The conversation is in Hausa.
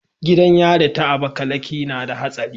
Gidan yari ta abakaliki nada hatsari